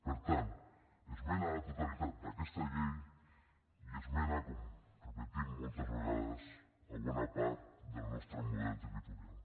per tant esmena a la totalitat d’aquesta llei i esmena com repetim moltes vegades a bona part del nostre model territorial